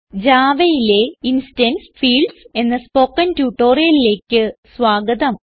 Javaയിലെ instance fields എന്ന spoken ട്യൂട്ടോറിയലിലേക്ക് സ്വാഗതം